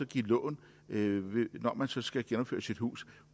give lån når man så skal genopføre sit hus